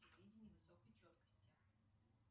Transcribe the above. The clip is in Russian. видение высокой четкости